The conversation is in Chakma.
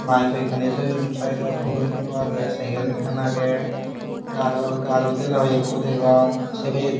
bayek hoiekkani toyon saidot huro ikko agey sekel ekkan agey gajo gajo dela hoiekko degong sey pijedi.